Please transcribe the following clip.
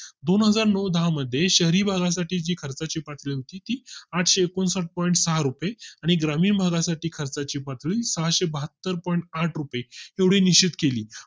दोन हजार नऊ दहा मध्ये शहरी भागा साठी जी खर्चाची पातळी होती ती आठशे एकोणसाठ POINT सहा रुपये आणि ग्रामीण भागा साठी खर्चाची पातळी सहाशे बहात्तर POINT आठ रुपये एवढी निश्चित केली